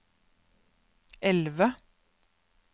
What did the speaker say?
elve